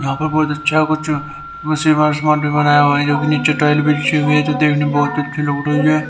यहां पर बहुत अच्छा कुछ बनाया हुआ है जो नीचे टाइल गई है जो की देखने में बहुत अच्छी लग रही है ।